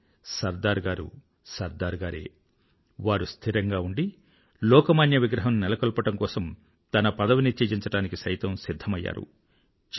కానీ సర్దార్ గారు సర్దార్ గారే వారు స్థిరంగా ఉండి లోకమాన్య విగ్రహం నెలకొల్పడం కోసం తన పదవిని త్యజించడానికి సిధ్ధమైయ్యారు